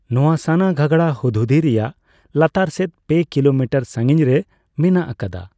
ᱱᱚᱣᱟ ᱥᱟᱱᱟᱜᱷᱟᱜᱟᱲᱟ ᱦᱩᱫᱽᱦᱩᱫᱤ ᱨᱮᱭᱟᱜ ᱞᱟᱛᱟᱨ ᱥᱮᱫ ᱯᱮ ᱠᱤᱞᱳᱢᱤᱴᱟᱨ ᱥᱟᱸᱜᱤᱧᱨᱮ ᱢᱮᱱᱟᱜ ᱟᱠᱟᱫᱟ ᱾